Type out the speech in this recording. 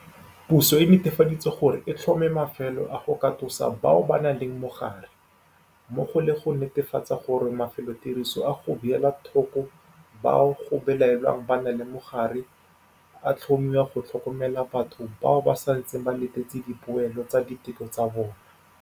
Puso e netefaditse gore e tlhoma mafelo a go katosa bao ba nang le mogare, mmogo le go netefatsa gore mafelotiriso a go beela thoko bao go belaelwang ba na le mogare a tlhomiwa go tlhokomela batho bao ba santseng ba letetse dipoelo tsa diteko tsa bona.